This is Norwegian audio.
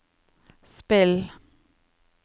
spill